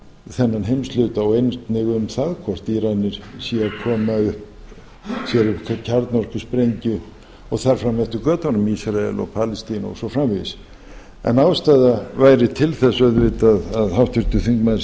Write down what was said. þennan heimshluta og einnig um það hvort íranir séu að koma sér upp kjarnorkusprengju og þar fram eftir götunum ísrael og palestína og svo framvegis en ástæða væri til þess auðvitað að háttvirtur þingmaður